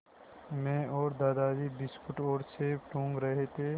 मैं और दादाजी बिस्कुट और सेब टूँग रहे थे